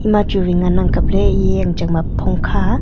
ema chu wai ngan ang kapley eya jang chang ba phong kha.